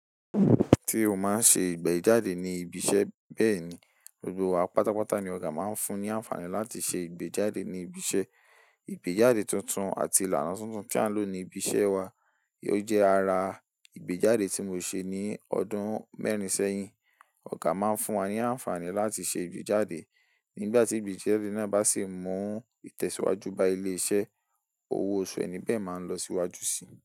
Tí o máa ń ṣe ìgbéjáde ní ibi iṣẹ́ bẹ́ẹ̀ ni, gbogbo wa pátápátá ni ọ̀gá máa ń fún ní àǹfààní láti ṣe ìgbéjáde ní ibi iṣẹ́. Ìgbéjáde tuntun àti ìlànà tuntun tí à ń lò ní ibi iṣẹ́ wa jẹ́ ara ìgbéjáde tí mo ṣe ní ọdún mẹ́rin sẹ́yìn. Ọ̀gá máa ń fún wa ní àǹfààní láti ṣe ìgbéjáde. Nígbà tí ìgbéjáde náà bá sì mú ìtẹ̀síwájú bá ilé iṣẹ́, owó ọ̀ṣü ẹni bẹ́ẹ̀ máa n lọ síwájú sì.